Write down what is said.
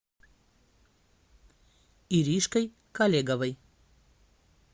иришкой колеговой